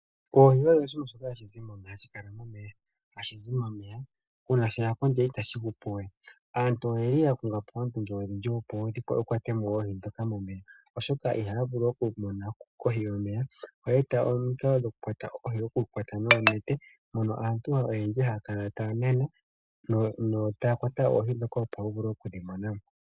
Oohi odho oshinima shoka hashi kala momeya nohashi zi momeya, uuna sheya kondje itashi hupu we. Aantu oyeli ya konga po oondunge odhindji opo ya kwate mo oohi momeya, oshoka ihaya vulu oku mona kohi yomeya oa eta omikalo dhokukwata oohi nonete mono aantu oyendji haya kala taya nana yo taya kwata oohi ndhoka opo wu vule okudhi mona mo.